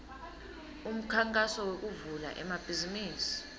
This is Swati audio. umkhankaso wekuvula emabhizimisi